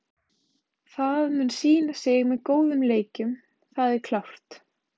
Það mun sýna sig með góðum leikjum, það er klárt.